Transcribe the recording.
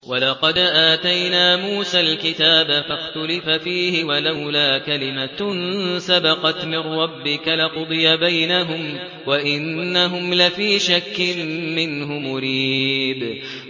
وَلَقَدْ آتَيْنَا مُوسَى الْكِتَابَ فَاخْتُلِفَ فِيهِ ۚ وَلَوْلَا كَلِمَةٌ سَبَقَتْ مِن رَّبِّكَ لَقُضِيَ بَيْنَهُمْ ۚ وَإِنَّهُمْ لَفِي شَكٍّ مِّنْهُ مُرِيبٍ